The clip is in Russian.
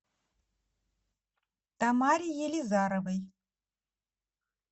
тамаре елизаровой